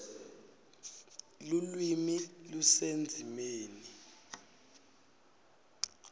lulwimi lusendzimeni